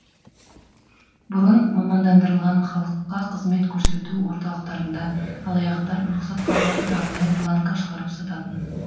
бұрын мамандандырылған халыққа қызмет көрсету орталықтарында алаяқтар рұқсат қағазын арнайы бланкқа шығарып сататын